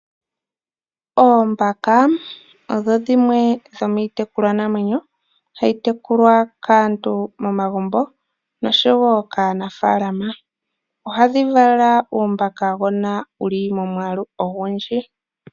Oombaka odho dhimwe dhomiitekulwanamwenyo mbyono hayi tekulwa kaantu momagumbo noshowo kaanafaalama. Ohadhi vala uumbakagona, wu li momwaalu ogundji.